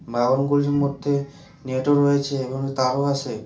বাগানগুলির মধ্যে নেটও রয়েছে এবং তারও আছে।